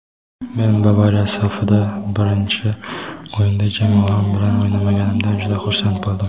Men Bavariya safida birinchi o‘yinda jamoam bilan o‘ynaganimdan juda xursand bo‘ldim.